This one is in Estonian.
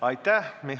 Aitäh!